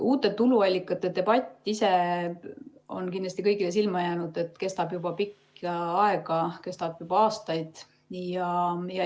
Uute tuluallikate debatt ise on kindlasti kõigile silma jäänud, see kestab juba pikka aega, kestab juba aastaid.